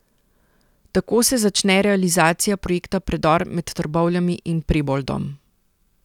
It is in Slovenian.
Tako se začne realizacija projekta Predor med Trbovljami in Preboldom.